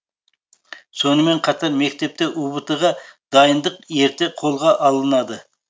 сонымен қатар мектепте ұбт ға дайындық ерте қолға алынады